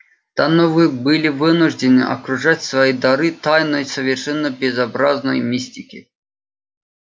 да но вы были вынуждены окружать свои дары тайной совершенно безобразной мистики